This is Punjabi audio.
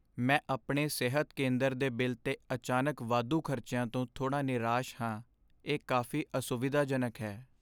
ਮੈਂ ਆਪਣੇ ਸਿਹਤ ਕੇਂਦਰ ਦੇ ਬਿੱਲ 'ਤੇ ਅਚਾਨਕ ਵਾਧੂ ਖ਼ਰਚਿਆਂ ਤੋਂ ਥੋੜ੍ਹਾ ਨਿਰਾਸ਼ ਹਾਂ, ਇਹ ਕਾਫ਼ੀ ਅਸੁਵਿਧਾਜਨਕ ਹੈ।